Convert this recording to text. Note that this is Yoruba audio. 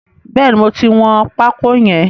Bẹ́ẹ̀ni, mo ti wọn pákó yẹn.